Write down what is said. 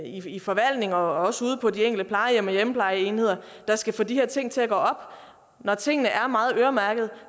i forvaltningen og også ude på de enkelte plejehjem og hjemmeplejeenheder der skal få de her ting til at gå op når tingene er meget øremærkede